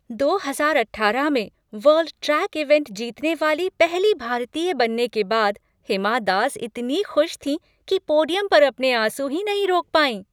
दो हजार अठारह में वर्ल्ड ट्रैक इवेंट जीतने वाली पहली भारतीय बनने के बाद हिमा दास इतनी खुश थीं कि पोडियम पर अपने आंसू ही नहीं रोक पाईं।